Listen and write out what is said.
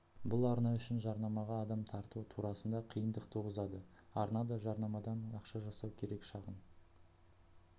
бұл арна үшін жарнамаға адам тарту турасында қиындық туғызады арна да жарнамадан ақша жасау керек шағын